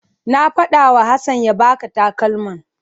Na faɗawa Hassan ya baka takalman.